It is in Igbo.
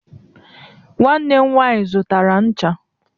nwanne m nwanyi zụtara ncha